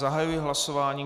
Zahajuji hlasování.